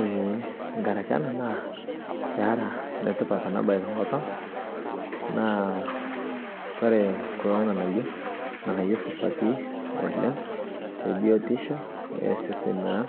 ee nkaraki ena naa peera enetipat ena bae tenkop ang, naa ore kulo ng'anayio, ng'anayio supati oleng te biyotisho o seseni lang